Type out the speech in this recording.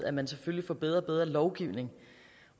at man selvfølgelig får bedre og bedre lovgivning